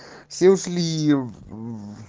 все ушлии в